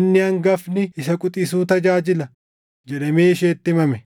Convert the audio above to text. “Inni hangafni isa quxisuu tajaajila” + 9:12 \+xt Uma 25:23\+xt* jedhamee isheetti himame.